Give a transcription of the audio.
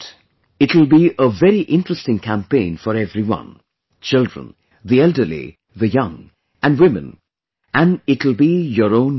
It will be a very interesting campaign for everyone children, the elderly, the young and women and it will be your own movement